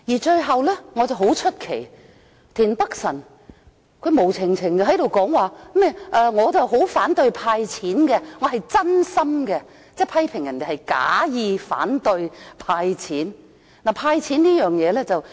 最後，我感到很奇怪，田北辰議員無故談到反對"派錢"，說自己是真心的，即批評別人假意反對"派錢"。